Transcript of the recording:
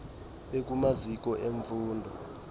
bekumaziko em fundo